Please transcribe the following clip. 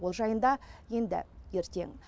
ол жайында енді ертең